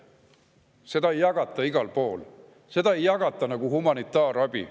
Seda ei jagata igal pool, seda ei jagata nagu humanitaarabi.